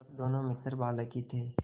जब दोनों मित्र बालक ही थे